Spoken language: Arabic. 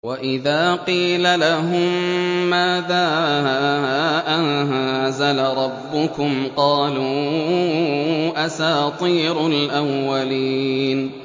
وَإِذَا قِيلَ لَهُم مَّاذَا أَنزَلَ رَبُّكُمْ ۙ قَالُوا أَسَاطِيرُ الْأَوَّلِينَ